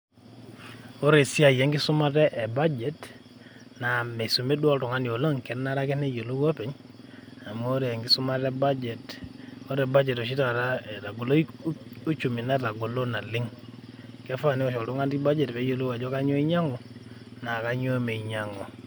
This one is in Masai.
Ore esiai enkisumata e budget ,na misumi duo oltung'ani oleng',kenare ake neyiolou openy, amu ore enkisumata e budget ,ore budget oshi taata etagolo uchumi, netagolo naleng'. Kefaa niwosh oltung'ani budget peyiolou ajo kanyioo einyang'u, na kanyioo meinyang'u.